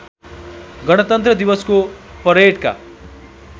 गणतन्त्र दिवसको परेडका